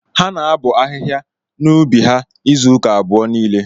Ha na abọ ahịhịa nọ n'ubi ha izụka abụọ niile.